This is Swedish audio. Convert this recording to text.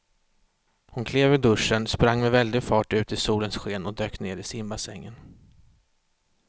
Hon klev ur duschen, sprang med väldig fart ut i solens sken och dök ner i simbassängen.